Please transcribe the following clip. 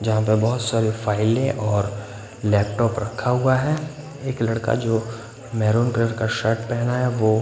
जहाँ पे बहुत सारे फाइलें और लैपटॉप रखा हुआ है एक लड़का जो मेरून कलर का शर्ट पहना है वो--